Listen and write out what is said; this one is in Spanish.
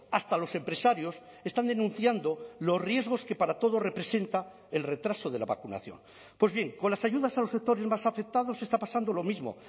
hasta los empresarios están denunciando los riesgos que para todo representa el retraso de la vacunación pues bien con las ayudas a los sectores más afectados está pasando lo mismo